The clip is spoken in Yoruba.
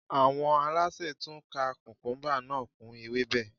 Àwọn alásè tún ka kùkúmúbá náà kún ewébẹ̀